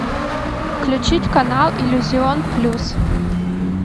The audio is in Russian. включить канал иллюзион плюс